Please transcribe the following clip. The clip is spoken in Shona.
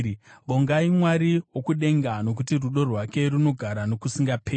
Vongai Mwari wokudenga, Nokuti rudo rwake runogara nokusingaperi.